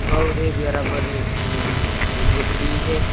और एक बराबर में और मोटरसाइकिल भी खड़ी है।